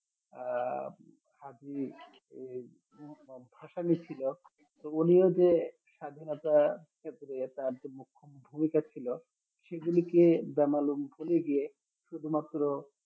আহ হাজী হাসানি ছিল তো উনিও যে স্বাধীনতার ওপরে তার যে মুখ্য ভুমিকা ছিল সেগুলিকে বেমালুম ভুলে গিয়ে শুধুমাত্র